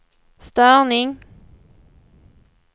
störning